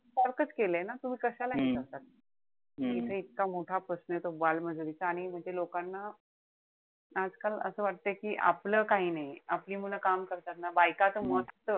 सारखाच केलंय ना तुम्ही कशाला हे करता. इथे इतका मोठा प्रश्नय तो बालमजुरीचा आणि म्हणजे लोकांना आजकाल असं वाटतंय कि आपलं काही नाहीये. आपली मुलं काम करतायत ना. बायकांचा मत,